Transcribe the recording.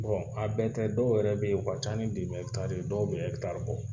a bɛɛ tɛ dɔw yɛrɛ be yen , u ka ca ni dɔw be bɔ